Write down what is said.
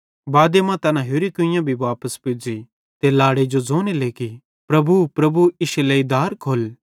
बादे मां तैना होरि अड्लैई कुइयां भी वापस पुज़ी ते लाड़े जो ज़ोने लेगि प्रभु प्रभु इश्शे लेइ दार खोल्ल